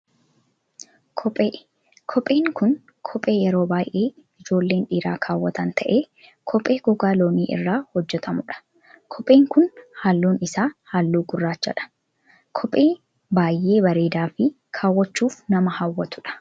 Kophee, kopheen kun kophee yeroo baayyee ijoolleen dhiiraa kaawwatan ta'ee, kophee gogaa loonii irraa hojjatamu dha. Kopheen kun halluun isaa halluu gurraacha dha. Kophee baayyee bareedaa fi kaawwachuuf nama hawwatudha.